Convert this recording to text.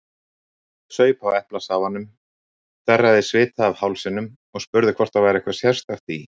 Saup á eplasafanum, þerraði svita af hálsinum og spurði hvort það væri eitthvað sérstakt í